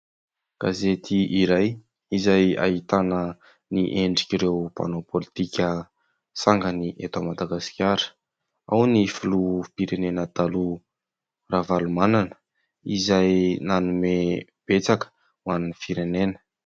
Gazety iray izay ahitana ny endrik'ireo mpanao pôlitika sangany eto Madagasikara : ao ny filoham-pirenena taloha Ravalomanana izay nanome betsaka ho an'ny firenena.